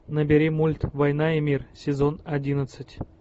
набери мульт война и мир сезон одиннадцать